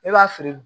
Ne b'a feere